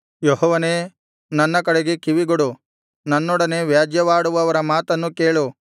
ಯೆಹೋವನೇ ನನ್ನ ಕಡೆಗೆ ಕಿವಿಗೊಡು ನನ್ನೊಡನೆ ವ್ಯಾಜ್ಯವಾಡುವವರ ಮಾತನ್ನು ಕೇಳು